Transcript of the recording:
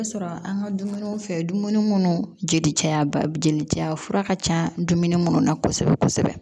Sɔrɔ an ka dumuni fɛn dumuni munnu jeli ca ba jeli caya fura ka ca dumuni munnu na kosɛbɛ kosɛbɛ